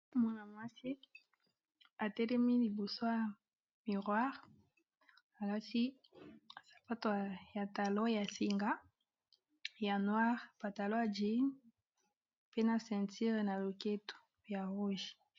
Mwana mwasi atelemi liboso ya miroir alati sapato ya talon ya singa ya noir pantalon ya jin na ceinture na loketo ya rouge.